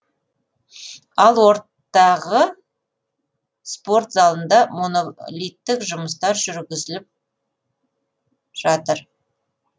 ал ортағы спорт залында монолиттік жұмыстар жүргізіліп жатыр